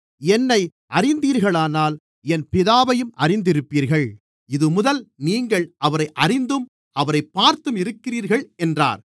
என்னை அறிந்தீர்களானால் என் பிதாவையும் அறிந்திருப்பீர்கள் இதுமுதல் நீங்கள் அவரை அறிந்தும் அவரைப் பார்த்தும் இருக்கிறீர்கள் என்றார்